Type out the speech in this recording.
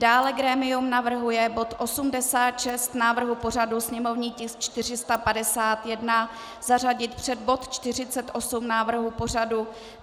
Dále grémium navrhuje bod 86 návrhu pořadu, sněmovní tisk 451, zařadit před bod 48 návrhu pořadu.